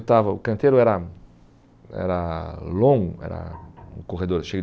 estava O canteiro era era longo, era um corredor cheio